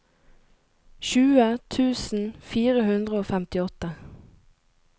tjue tusen fire hundre og femtiåtte